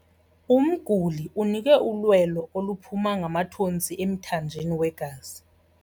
Umguli unikwe ulwelo oluphuma ngamathontsi emthanjeni wegazi.